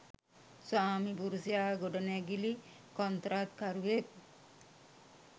ස්වාමිපුරුෂයා ගොඩනැගිලි කොන්ත්‍රාත්කරුවෙක්.